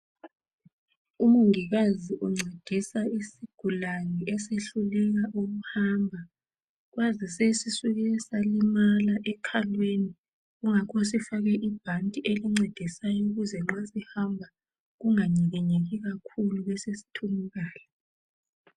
Umongikazi uncedisa isigulane esihluleka ukuhamba kwazi sisuke salimala ekhalweni kungakho sifake ibhanti elimcedisa nxa sihamba kunganyikinyeki kakhulu besesithunukala